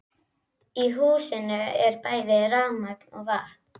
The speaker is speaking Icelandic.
Í húsinu er bæði rafmagn og vatn.